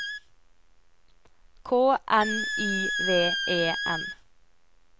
K N I V E N